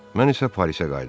Mən isə Parisə qayıdıram.